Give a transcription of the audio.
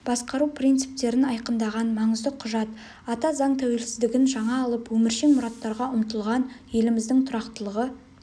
басқару принциптерін айқындаған маңызды құжат ата заң тәуелсіздігін жаңа алып өміршең мұраттарға ұмтылған еліміздің тұрақтылығы